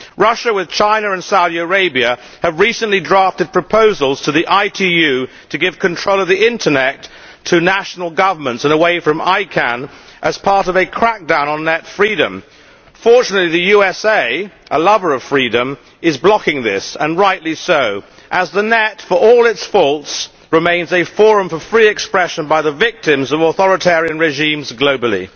Russia has, with China and Saudi Arabia, recently drafted proposals to the ITU to give control of the Internet to national governments and away from ICANN as part of a crackdown on Net freedom. Fortunately the USA, a lover of freedom, is blocking this and rightly so as the Net, for all its faults, remains a forum for free expression by the victims of authoritarian regimes globally.